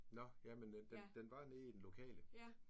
Nåh. Jamen den den var nede i den lokale